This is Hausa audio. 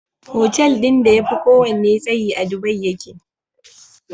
Hotel din da yafi kowanne tsayi a dubai yake